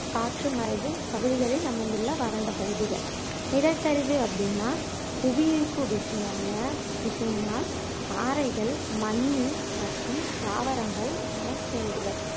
காற்று மறைவு பகுதிகளில் அமைந்துள்ள வறண்ட பகுதிகள் நிலச்சரிவு அப்படின்னா புவியீர்ப்பு விசையால விசையினால் பாறைகள் மண்ணு மற்றும் தாவரங்கள் மலைச்சரிவுகள்